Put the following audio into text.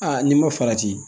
Aa n'i ma farati